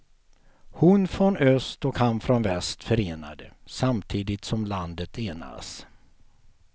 Hon från öst och han från väst förenade, samtidigt som landet enas.